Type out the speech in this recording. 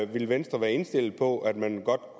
vil venstre være indstillet på at man